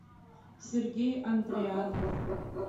сергей андрианов